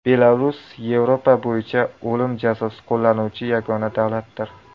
Belarus Yevropa bo‘yicha o‘lim jazosi qo‘llanuvchi yagona davlatdir.